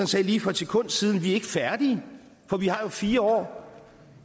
sagde lige for et sekund siden vi er ikke færdige for vi har jo fire år